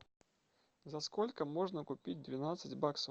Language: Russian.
за сколько можно купить двенадцать баксов